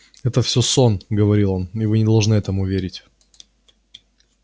это всё сон говорил он и вы не должны этому верить